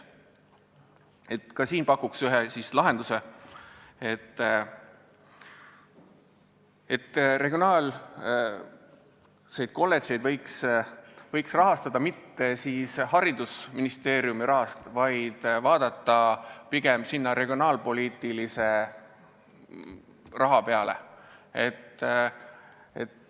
Pakun ka siin välja ühe lahenduse: regionaalseid kolledžeid võiks rahastada mitte haridusministeeriumi eelarverealt, pigem võiks selleks kasutada regionaalpoliitilisi vahendeid.